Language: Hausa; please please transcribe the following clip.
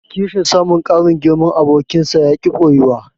Kishin samun ƙarin girman abokinsa yaƙi ɓoyuwa.